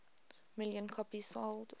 million copies sold